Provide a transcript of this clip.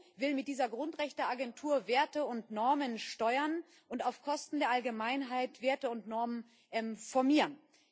Die EU will mit dieser Grundrechteagentur Werte und Normen steuern und auf Kosten der Allgemeinheit Werte und Normen formieren.